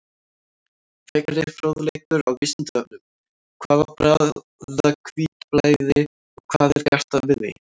Frekari fróðleikur á Vísindavefnum: Hvað er bráðahvítblæði og hvað er gert við því?